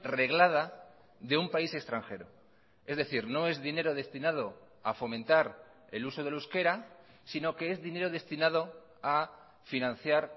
reglada de un país extranjero es decir no es dinero destinado a fomentar el uso del euskera sino que es dinero destinado a financiar